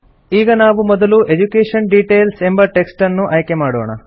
ಈಗ ನಾವು ಮೊದಲು ಎಡ್ಯುಕೇಷನ್ ಡಿಟೇಲ್ಸ್ ಎಂಬ ಟೆಕ್ಸ್ಟ್ ಅನ್ನು ಆಯ್ಕೆ ಮಾಡೋಣ